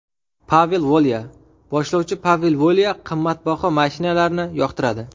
Pavel Volya Boshlovchi Pavel Volya qimmatbaho mashinalarni yoqtiradi.